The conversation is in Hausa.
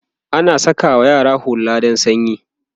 ana sakawa yara hulla dan sanyi